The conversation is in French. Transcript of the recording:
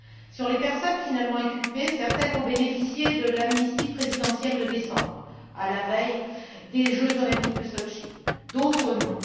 Sur les personnes finalement inculpées, certaines ont bénéficié de l'amnistie présidentielle de décembre, à la veille des Jeux olympiques de Sotchi, d'autres non.